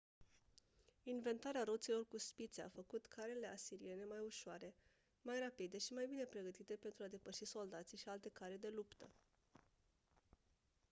inventarea roților cu spițe a făcut carele asiriene mai ușoare mai rapide și mai bine pregătite pentru a depăși soldații și alte care de luptă